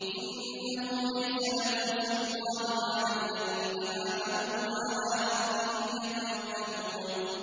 إِنَّهُ لَيْسَ لَهُ سُلْطَانٌ عَلَى الَّذِينَ آمَنُوا وَعَلَىٰ رَبِّهِمْ يَتَوَكَّلُونَ